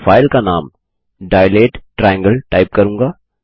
मैं फाइल का नाम dilate ट्रायंगल टाइप करूँगा